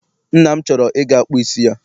Nna m chọrọ I ga kpụ isi ya.